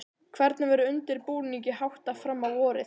Hvernig verður undirbúningi háttað fram á vorið?